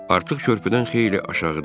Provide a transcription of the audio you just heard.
Artıq körpüdən xeyli aşağıda idim.